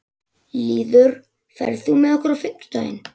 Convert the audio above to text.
Lýður, ferð þú með okkur á fimmtudaginn?